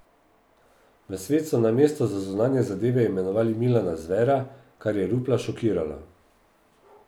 V svet so na mesto za zunanje zadeve imenovali Milana Zvera, kar je Rupla šokiralo.